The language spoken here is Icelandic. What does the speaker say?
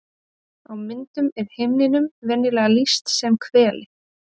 Á myndum er himninum venjulega lýst sem hveli.